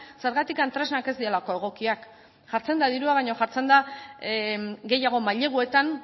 zergatik tresnak ez direlako egokiak jartzen da dirua baina jartzen da gehiago maileguetan